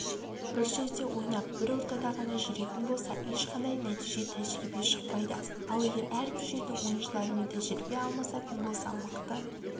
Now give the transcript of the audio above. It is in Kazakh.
бір жерде ойнап бір ортада ғана жүретін болса ешқандай нәтиже тәжірибе шықпайды ал егер әрбір жердің ойыншыларымен тәжірибе алмасатын болса мықты